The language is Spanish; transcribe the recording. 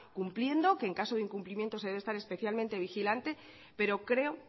cumpliendo que en caso de incumplimiento se debe estar especialmente vigilante pero creo